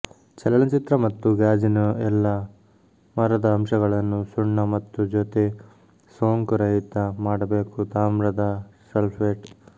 ಚಲನಚಿತ್ರ ಮತ್ತು ಗಾಜಿನ ಎಲ್ಲಾ ಮರದ ಅಂಶಗಳನ್ನು ಸುಣ್ಣ ಮತ್ತು ಜೊತೆ ಸೋಂಕುರಹಿತ ಮಾಡಬೇಕು ತಾಮ್ರದ ಸಲ್ಫೇಟ್